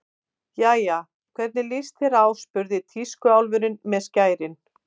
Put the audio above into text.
Jæja, hvernig líst þér á spurði tískuálfurinn með skærin.